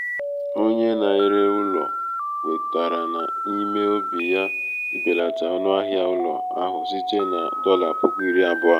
onye na-ere ụlọ kwetara n’ime obi ya ibelata ọnụahịa ụlọ ahụ site na dolla puku iri abuo